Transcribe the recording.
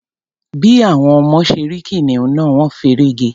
Bí àwọn ọmọ ṣe rí kìnìún náà, wọ́n feré ge.